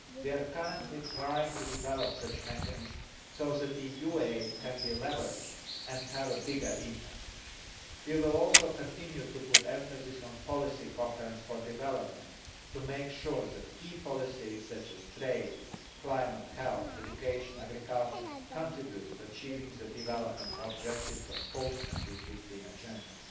We are currently trying to develop such mechanisms so that EU aid can be leveraged and have greater impact. We will also continue to emphasise policy coherence for development, to make sure that key policies such as trade, climate, health, education and agriculture contribute to achieving the development objectives of a post 2015 agenda.